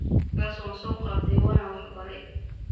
Kaas wansoqatey wana waxbarey.